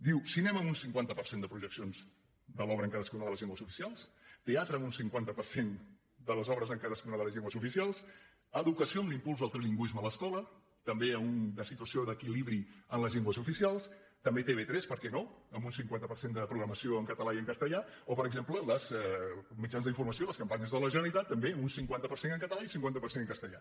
diu cinema un cinquanta per cent de projeccions de l’obra en cadascuna de les llengües oficials teatre un cinquanta per cent de les obres en cadascuna de les llengües oficials educació un impuls al trilingüisme a l’escola també a una situació d’equilibri en les llengües oficials també tv3 per què no amb un cinquanta per cent de programació en català i en castellà o per exemple als mitjans d’informació les campanyes de la generalitat també un cinquanta per cent català i cinquanta per cent en castellà